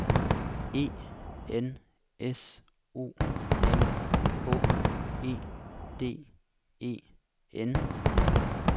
E N S O M H E D E N